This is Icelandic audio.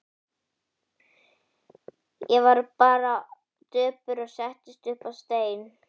Ég varð bara döpur og settist upp á stein.